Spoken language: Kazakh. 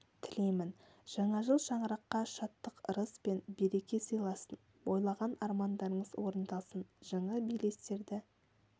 тілеймін жаңа жыл шаңыраққа шаттық ырыс пен береке сыйласын ойлаған армандарыңыз орындалсын жаңа белестерді